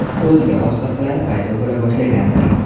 O‘ziga xos qiliqlari paydo bo‘la boshlagandir?